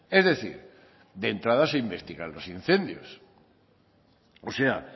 es decir de entrada se investigan los incendios o sea